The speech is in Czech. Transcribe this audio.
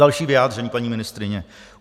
Další vyjádření paní ministryně.